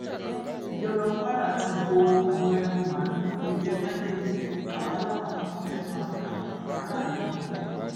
ìjọba kwara ti bo àwọn ẹran màálùú tó jẹ májèlé táwọn alápatà kan fẹẹ máa ta fáráàlú mọlẹ